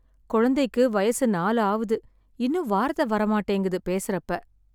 குழந்தைக்கு வயசு நாலு ஆவுது, இன்னும் வார்த்தை வர மாட்டேங்குது பேசறப்ப.